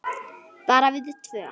Bara við tvö?